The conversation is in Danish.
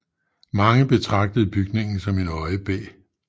Mange betragtede bygningen som en øjebæ